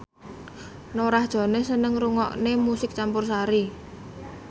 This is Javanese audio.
Norah Jones seneng ngrungokne musik campursari